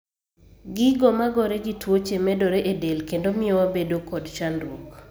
Gigo magore gi tuoche medore e del kendo mio wabedo kod chandruok